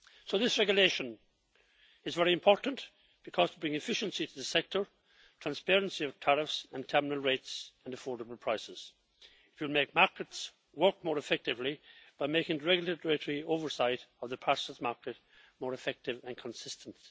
This regulation is very important, because it brings efficiency to the sector, transparency of tariffs and terminal rates, and affordable prices. It will make markets work more effectively by making regulatory oversight of the parcels market more effective and consistent.